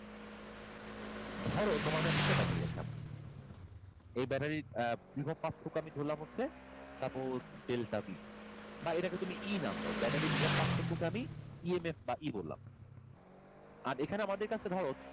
ধরো তোমার কাছে একটা battery আছে এমন এই battery এর বিভব পার্থক্য আমি ধরলাম হচ্ছে suppose delta b আর এটাকে তুমি E নাম দাও battery বিভব পার্থক্য কে আমি EMF বা E বললাম আর এখানে আমাদের কাছে ধরো,